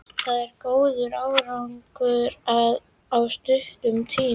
Það er góður árangur á stuttum tíma.